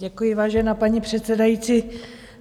Děkuji, vážená paní předsedající.